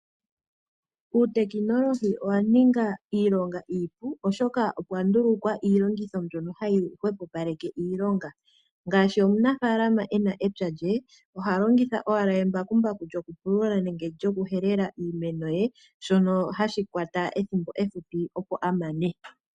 Uutekinolohi owa ninga iilonga iipu, oshoka opwa ndulukwa iilongitho mbyono hayi hwepopaleke iilonga. Ngaashi omunafaalama e na epya lye oha longitha owala embakumbaku lyokupulula nenge lyokuhelela iimeno ye shono hashi kwata ethimbo ehupi opo a mane.